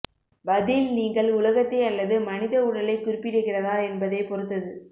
பதில் நீங்கள் உலகத்தை அல்லது மனித உடலைக் குறிப்பிடுகிறதா என்பதைப் பொறுத்தது